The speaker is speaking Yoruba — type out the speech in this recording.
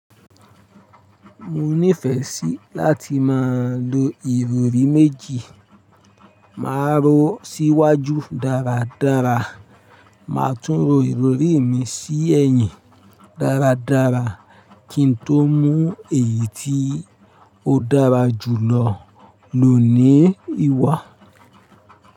Mo nífẹsí láti máa lo ìrọrí méjì. Máa ro síwájú dáradára, màá tún ro ìrorí mi sí ẹ̀yìn dáradára kí n tó mú èyí tí ó dára jùlọ lò ní ìwà.